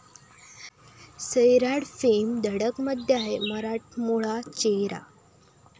सैराट'फेम 'धडक'मध्ये आहे मराठमोळा चेहरा!